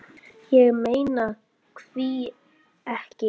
Ég meina hví ekki?